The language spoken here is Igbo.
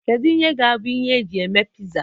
Kedu ihe ga-abụ ihe eji eme pizza?